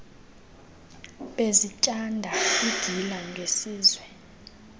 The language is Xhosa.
bezityanda igila ngesizwe